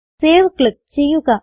save click ചെയ്യുക